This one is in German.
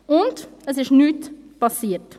Und? – Nichts ist passiert.